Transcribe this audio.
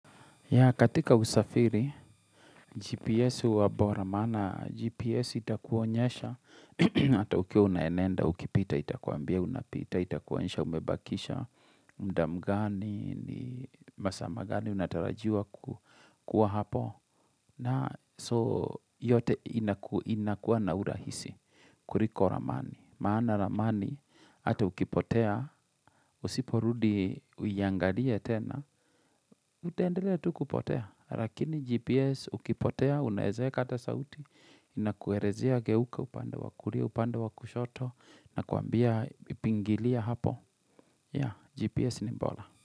Ya katika usafiri, GPS huwa bora maana, GPS itakuonyesha, ata ukiwa unaenenda, ukipita, itakuambia, unapita itakuonyesha umebakisha muda mgani, ni masaa magani unatarajiwa kuwa hapo. Na so yote inakuwa na urahisi, kuliko ramani. Maana ramani, ata ukipotea, usiporudi uiangalie tena, Utaendelea tu kupotea, lakini GPS ukipotea, unaeza eka hata sauti, inakuelezea geuka upande wa kulia, upande wa kushoto, na kuambia pingilia hapo. Ya, GPS ni bora.